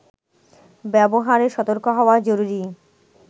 ব্যবহারে সতর্ক হওয়া জরুরি